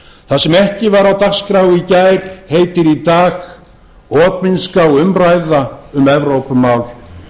það sem ekki var á dagskrá í gær heitir í dag opinská umræða um evrópumál